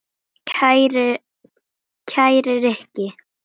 Kæri Rikki.